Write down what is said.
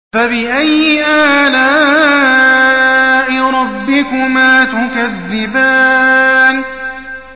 فَبِأَيِّ آلَاءِ رَبِّكُمَا تُكَذِّبَانِ